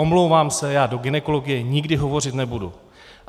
Omlouvám se, já do gynekologie nikdy hovořit nebudu.